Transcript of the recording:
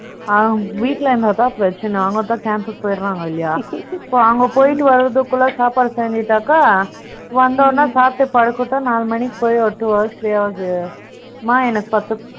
ஆங், வீட்டுல இருந்தாதான் பிரச்சனை. அவங்க அப்பா camp க்கு போயிடுறாங்க இல்லையா So, அங்க போயிட்டு வரதுக்குள்ள, சாப்பாடு செஞ்சுட்டாக்க, வந்த உடனே, சாப்பிட்டு படுக்கட்டும். நாலு மணிக்கு போய், ஒரு two hours, three ஆகுது. அம்மா